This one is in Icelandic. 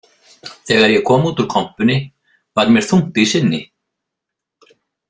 Þegar ég kom út úr kompunni var mér þungt í sinni.